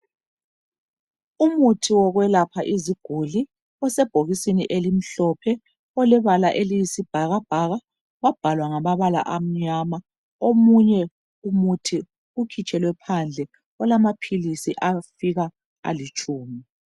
Umuthi yokwelapha iziguli osebhokisini elimhlophe olebala eliyisibhakabhaka wabhalwa ngamabala amnyama, omunye umuthi ukhitshelwe phandle olamaphilisi afika alitshumi.